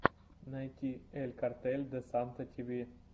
найти эль картель де санта ти ви